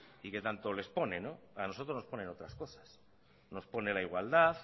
y que tanto les pone a nosotros nos ponen otras cosas nos pone la igualdad